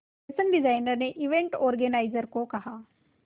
fashion designer ने event organiser को कहा